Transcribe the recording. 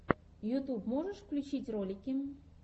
ютьюб можешь включить ролики